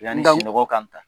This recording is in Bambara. ya ni sunɔgɔ ka n ta.